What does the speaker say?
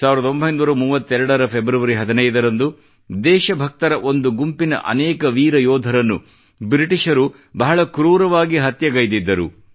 1932 ರ ಫೆಬ್ರವರಿ 15ರಂದು ದೇಶ ಭಕ್ತರ ಒಂದು ಗುಂಪಿನ ಅನೇಕ ವೀರ ಯೋಧರನ್ನು ಬ್ರಿಟಿಷರು ಬಹಳ ಕ್ರೂರವಾಗಿ ಹತ್ಯೆಗೈದಿದ್ದರು